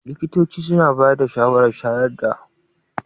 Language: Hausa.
Likitoci suna bayar da shawarar shayarwa har na tsawon watanni shida.